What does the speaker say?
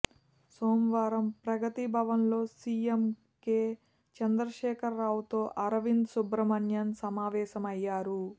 సోమవారం ప్రగతి భవన్లో CM K చంద్రశేఖర్రావుతో అరవింద్ సుబ్రమణ్యన్ సమావేశమయ్యారు